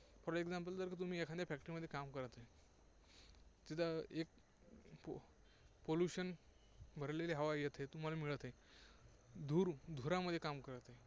For example जर तुम्ही एखाद्या factory मध्ये काम करत आहे, तिथे एक pollution भरलेली हवा येत आहे, तुम्हाला मिळत आहे. धूर, धुरामध्ये काम करत आहे.